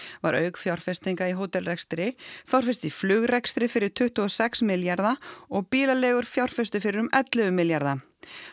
var auk fjárfestinga í hótelrekstri fjárfest í flugrekstri fyrir tuttugu og sex milljarða og bílaleigur fjárfestu fyrir um ellefu milljarða